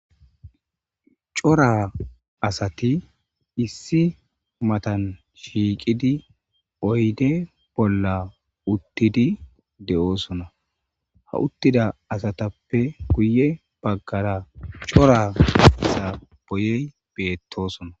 Cora asati issi matan shiiqidi oyde bolla uttidi de7oosona ha uttida asatappe guye baggara cora asa boyey beettosona